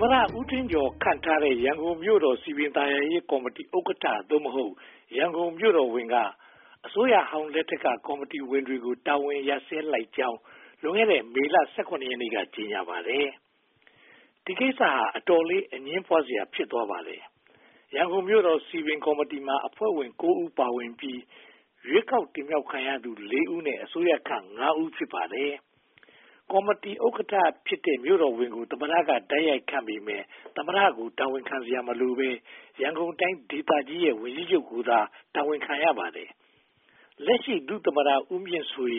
မတဦးထင်ကျော် ခန့်ထားတဲ့ ရန်ကုန်မြို့တော် စည်ပင်သာယာရေးဥက္ကဋ္ဌ (သို့မဟုတ်) ရန်ကုန်မြို့တော်ဝန်က အစိုးရဟောင်းလက်ထက်က ကော်မတီဝင်တွေကို တာဝန်ရပ်ဆိုင်းလိုက်ကြောင်း လွန်ခဲ့တဲ့ မေလ (၁၇) ရက်နေ့က ကြေညာပါတယ်။ ဒီကိစ္စက အတော်လေး အငြင်းပွားစရာ ဖြစ်သွားပါတယ်။ ရန်ကုန်မြို့တော် စည်ပင်ကော်မတီမှာ အဖွဲ့ဝင် (၉) ဦး ပါဝင်ပြီး၊ ရွေးကောက်တင်မြှောက်ခံရသူ (၄) ဦးနဲ့ အစိုးရခန့် (၅) ဦး ဖြစ်ပါတယ်။ ကော်မတီဥက္ကဋ္ဌဖြစ်တဲ့ မြို့တော်ဝန်ကို သမ္မတက တိုက်ရိုက်ခန့်အပ်ပေမယ့် သမ္မတကို တာဝန်ခံစရာမလိုဘဲ ရန်ကုန်တိုင်းဒေသကြီးရဲ့ ဝန်ကြီးချုပ်ကိုသာ တာဝန်ခံရပါတယ်။ လက်ရှိ ဒုသမ္မတ ဦးမြင့်ဆွေ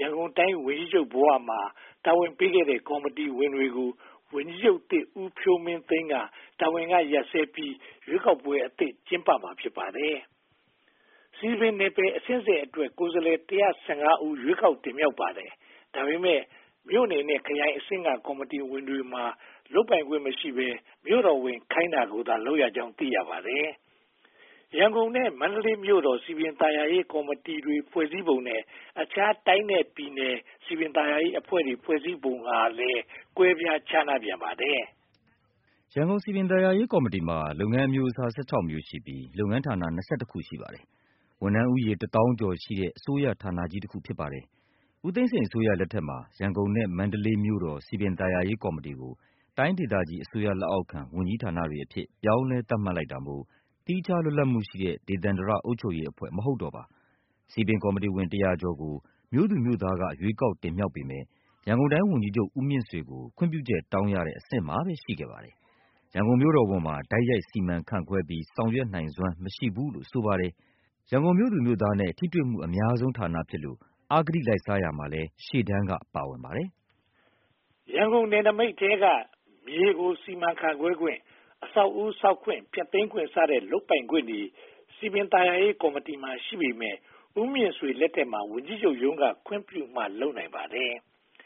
ရန်ကုန်တိုင်းဝန်ကြီးချုပ်ဘဝမှာ တာဝန်ပေးခဲ့တဲ့ ကော်မတီဝင်တွေကို ဝန်ကြီးချုပ်သစ် ဦးဖြိုးမင်းသိန်းက တာဝန်ကရပ်ဆဲပြီး ရွေးကောက်ပွဲအသစ် ကျင်းပမှာ ဖြစ်ပါတယ်။ စည်ပင်နယ်ပယ်အဆင့်ဆင့်အတွက် ကိုယ်စားလှယ် (၁၁၅) ဦး ရွေးကောက်တင်မြှောက်ပါတယ်။ ဒါပေမဲ့ မြို့နယ်နဲ့ခရိုင်အဆင့်က ကော်မတီဝင်တွေမှာ လုပ်ပိုင်ခွင့်မရှိဘဲ မြို့တော်ဝန် ခိုင်းတာကိုသာ လုပ်ရကြောင်း သိရပါတယ်။ ရန်ကုန်နဲ့မန္တလေးမြို့တော် စည်ပင်သာယာရေးကော်မတီတွေ ဖွဲ့စည်းပုံ နဲ့ အခြားတိုင်းနဲ့ပြည်နယ်က စည်ပင်သာယာရေးအဖွဲ့တွေ ဖွဲ့စည်းပုံကလည်း ကွဲပြားခြားနားပြန်ပါတယ်။ ရန်ကုန်စည်ပင်သာယာရေးကော်မတီမှာ လုပ်ငန်းအမျိုးအစား (၁၆) မျိုးရှိပြီး၊ လုပ်ငန်းဌာန (၂၁) ခု ရှိပါတယ်။ ဝန်ထမ်းဦးရေ တစ်သောင်းကျော်ရှိတဲ့ အစိုးရဌာနကြီးတခု ဖြစ်ပါတယ်။ ဦးသိန်းစိန်အစိုးရလက်ထက်မှာ ရန်ကုန်နဲ့မန္တလေးမြို့တော် စည်ပင်သာယာရေးကော်မတီကို တိုင်းဒေသအစိုးရ လက်အောက်ခံ ဝန်ကြီးဌာနတွေအဖြစ် ပြောင်းလဲသတ်မှတ်လိုက်တာမို့ သီးခြားလွတ်လပ်မှုရှိတဲ့ ဒေသန္တရအုပ်ချုပ်ရေးအဖွဲ့ မဟုတ်တော့ပါ။ စည်ပင်ကော်မတီဝင် တစ်ရာကျော်ကို မြို့သူမြို့သားတွေက ရွေးကောက်တင်မြှောက်ပေမယ့် ရန်ကုန်တိုင်းဝန်ကြီးချုပ် ဦးမြင့်ဆွေကို ခွင့်ပြုချက်တောင်းရတဲ့ အဆင့်မှာပဲ ရှိခဲ့ပါတယ်။ ရန်ကုန်မြို့တော်ဝန်မှာ တိုက်ရိုက်စီမံခန့်ခွဲပြီး ဆောင်ရွက်နိုင်စွမ်း မရှိဘူးလို့ ဆိုပါတယ်။ ရန်ကုန်မြို့သူမြို့သားတွေနဲ့ ထိတွေ့မှုအများဆုံးဌာနဖြစ်လို့ အဂတိလိုက်စားရာမှာလည်း ရှေ့တန်းက ပါဝင်ပါတယ်။ ရန်ကုန်နယ်နမိတ်ထဲက မြေကို စီမံခန့်ခွဲခွင့်၊ အဆောက်အဦးဆောက်ခွင့်၊ ဖျက်သိမ်းခွင့်စတဲ့ လုပ်ပိုင်ခွင့်တွေ စည်ပင်သာယာရေးကော်မတီမှာ ရှိပေမယ့် ဦးမြင့်ဆွေ လက်ထက်မှာ ဝန်ကြီးချုပ်က ခွင့်ပြုမှ လုပ်နိုင်ပါတယ်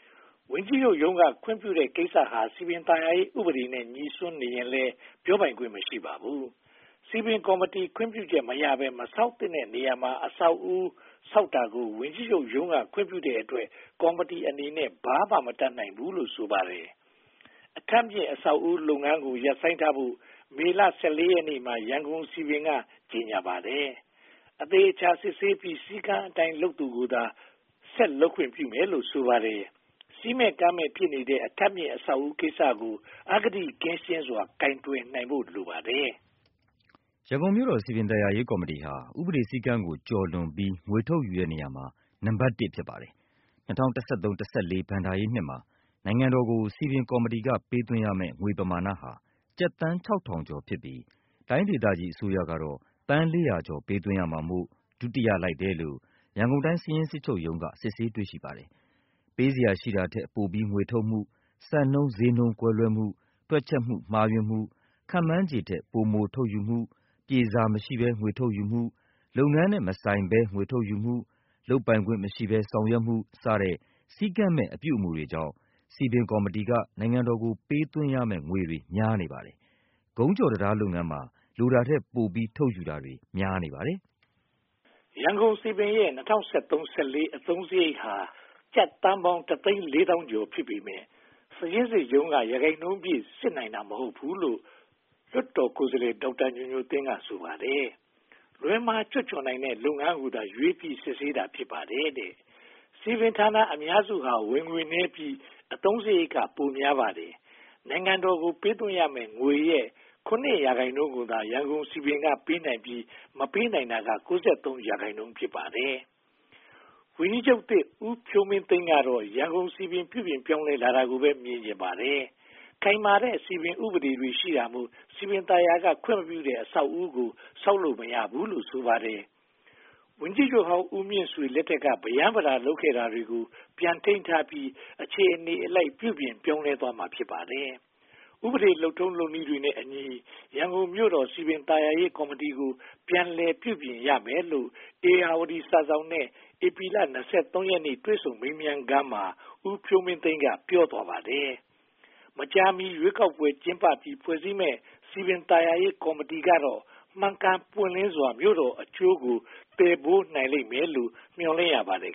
။ ဝန်ကြီးချုပ်က ခွင့်ပြုထားတဲ့ ကိစ္စဟာ စည်ပင်သာယာရေး ဥပဒေနဲ့ ငြိစွန်းနေရင်လည်း ပြောပိုင်ခွင့် မရှိပါဘူး။ စည်ပင်ကော်မတီ ခွင့်ပြုချက်မရဘဲ မဆောက်သင့်တဲ့နေရာမှာ အဆောက်အဦး ဆောက်တာကို ဝန်ကြီးချုပ်ရုံးက ခွင့်ပြုတဲ့အတွက် ကော်မတီအနေနဲ့ ဘာမှ မတတ်နိုင်ဘူးလို့ ဆိုပါတယ်။ အထပ်မြင့် အဆောက်အဦးလုပ်ငန်းကို ရပ်ဆိုင်းထားဖို့ မေလ (၁၄) ရက်နေ့မှာ ရန်ကုန်စည်ပင်က ကြေညာပါတယ်။ အသေအချာ စစ်ဆေးပြီး စည်းကမ်းအတိုင်း လုပ်သူကိုသာ ဆက်လုပ်ခွင့် ပြုမယ်လို့ ဆိုပါတယ်။ စည်းမဲ့ကမ်းမဲ့ ဖြစ်နေတဲ့ အထပ်မြင့် အဆောက်အဦးကိစ္စကို အဂတိကင်းစွာ ကိုင်တွယ်နိုင်ဖို့ လိုပါတယ်။ ရန်ကုန်မြို့တော်စည်ပင်သာယာရေးကော်မတီဟာ ဥပဒေစည်းကမ်းကို ကျော်လွန်ပြီး ငွေထုတ်ယူတဲ့နေရာမှာ နံပတ် (၁) ဖြစ်ပါတယ်။ ၂၀၁၃-၂၀၁၄ ဘဏ္ဍာရေးနှစ်မှာ နိုင်ငံတော်ကို စည်ပင်ကော်မတီက ပေးသွင်းရမယ့် ငွေပမာဏဟာ ကျပ်သန်း (၆၀၀၀) ကျော်ဖြစ်ပြီး တိုင်းဒေသကြီး အစိုးရတော့ သန်း (၄၀၀) ကျော် ပေးသွင်းရမှာမို့ ဒုတိယ လိုက်တယ်လို့ ရန်ကိုင်တိုင်း စာရင်းစစ်ချုပ်ရုံးက စစ်ဆေးတွေ့ရှိပါတယ်။ ပေးစရာ ရှိတာထက်ပိုပြီး ငွေထုတ်မှု၊ စံနှုန်းဈေးနှုန်း ကွဲလွဲမှု၊ တွက်ချက်မှု မှားယွင်းမှု၊ ခန့်မှန်းခြေထက် ပိုမိုထုတ်ယူမှု၊ ပြေစာမရှိဘဲ ငွေထုတ်ယူမှု၊ လုပ်ငန်းနဲ့ မဆိုင်ဘဲ ငွေထုတ်ယူမှု၊ လုပ်ပိုင်ခွင့်မရှိဘဲ ဆောင်ရွက်မှု စတဲ့ စည်းကမ်းမဲ့ အပြုအမှုတွေကြောင့် စည်ပင်ကော်မတီ က နိုင်ငံတော်ကို ပေးသွင်းရမယ့် ငွေတွေ များနေပါတယ်။ ကုန်းကျော်တံတားလုပ်ငန်းမှာ လိုတာထက်ပိုပြီး ထုတ်ယူတာတွေ များနေပါတယ်။ ရန်ကုန်စည်ပင်ရဲ့ ၂၀၁၃-၁၄ အသုံးစရိတ်ဟာ ကျပ်သန်းပေါင်း (၁၄၃၀၀၀) ကျော် ဖြစ်ပေမယ့် စာရင်းစစ်ချုပ်ရုံးက ရာခိုင်နှုန်းပြည့် စစ်နိုင်တာ မဟုတ်ဘူးလို့ လွှတ်တော်ကိုယ်စားလှယ် ဒေါက်တာညိုညိုသင်း က ဆိုပါတယ်။ လွှဲမှားချွတ်ချော်နိုင်တဲ့ လုပ်ငန်းကိုသာ ရွေးပြီး စစ်ဆေးတာ ဖြစ်ပါတယ်။ စည်ပင်ဌာနအများစုဟာ ဝင်ငွေနည်းပြီး အသုံးစရိတ်က ပိုများပါတယ်။ နိုင်ငံတော်ကို ပေးသွင်းရမယ့် ငွေရဲ့ (၇) ရာခိုင်နှုန်းကိုသာ ရန်ကုန်စည်ပင်က ပေးနိုင်ပြီး မပေးနိုင်တာက (၉၃) ရာခိုင်နှုန်း ဖြစ်ပါတယ်။ ဝန်ကြီးချုပ်သစ် ဦးဖြိုးမင်းသိန်းကတော့ ရန်ုကုန်စည်ပင် ပြုပြင်ပြောင်းလဲလာတာကိုပဲ မြင်ချင်ပါတယ်။ ခိုင်မာတဲ့ စည်ပင်ဥပဒေတွေ ရှိတာမို့ စည်ပင်သာယာက ခွင့်မပြုတဲ့ အဆောက်အဦးကို ဆောက်လုပ်မရဘူးလို့ ဆိုပါတယ်။ ဝန်ကြီးချုပ် ဦးမြင့်ဆွေလက်ထက်က ပရမ်းပတာ လုပ်ခဲ့တာတွေကို ပြန်ထိန်းထားပြီး အခြေအနေအလိုက် ပြုပြင်ပြောင်းလဲသွားမှာ ဖြစ်ပါတယ်။ ဥပဒေလုပ်ထုံးလုပ်နည်းတွေနဲ့အညီ ရန်ကုန်မြို့တော် စည်ပင်သာယာရေးကော်မတီကို ပြန်လည်ပြုပြင်ရမယ်လို့ ဧရာဝတီစာစောင်နဲ့ ဧပြီလ (၂၃) ရက်နေ့ တွေ့ဆုံမေးမြန်းခန်းမှာ ဦးဖြိုးမင်းသိန်းက ပြောသွားပါတယ်။ မကြာမီ ရွေးကောက်ပွဲ ကျင်းပပြီး ဖွဲ့စည်းမယ့် စည်ပင်သာယာရေးကော်မတီကတော့ မှန်ကန်ပွင့်လင်းစွာ မြို့တော်အကျိုးကို သယ်ယူနိုင်လိမ့်မယ်လို့ မျှော်လင့်ရပါတယ်